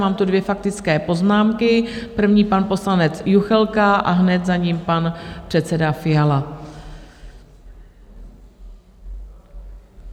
Mám tu dvě faktické poznámky, první pan poslanec Juchelka a hned za ním pan předseda Fiala.